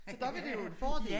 Så der var det jo en fordel